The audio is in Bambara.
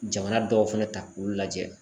Jamana dɔw fɛnɛ ta k'olu lajɛ